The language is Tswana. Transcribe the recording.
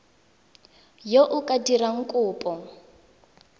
yo o ka dirang kopo